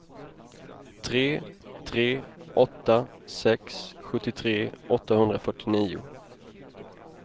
tre tre åtta sex sjuttiotre åttahundrafyrtionio